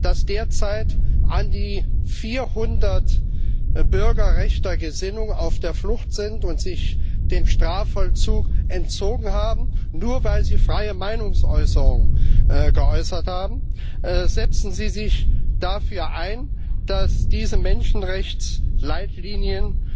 Dass derzeit an die 400 Bürger rechter Gesinnung auf der Flucht sind und sich dem Strafvollzug entzogen haben, nur weil sie ihre freie Meinung geäußert haben? Setzen Sie sich dafür ein, dass diese Menschenrechtsleitlinien